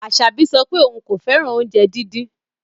Asabi sọ pe oun ko fẹran ounjẹ didin